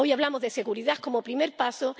Hoy hablamos de seguridad como primer paso